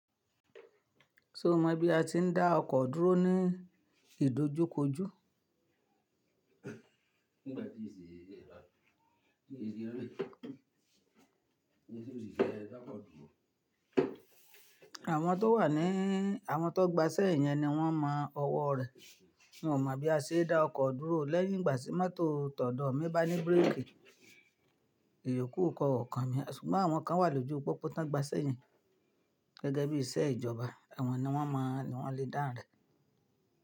Ṣé o mọ bí a ti ń dá ọkọ̀ dúró ní ìdojúkojú? Àwọn tó wà ní, àwọn tó gba ise yẹn ni wọ́n mọ ọwọ́ rẹ̀. N ó mọ bí a ṣe dá ọkọ̀ dúró lẹ́yìn ìgbà tí mọ́tò tọ̀dọ̀ mí bá ní bírèèkì. Ìyoku kò kan mi ṣùgbọ́n àwọn kan wà lójú pópó ti won gba isẹ́ yen. Gẹ́gẹ́ bí iṣẹ́ ìjọba. Awọ̀n ni wọ́n moo, won lè dáhùn rẹ̀.